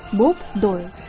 Bob Doylu.